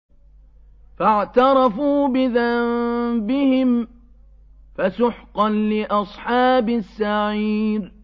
فَاعْتَرَفُوا بِذَنبِهِمْ فَسُحْقًا لِّأَصْحَابِ السَّعِيرِ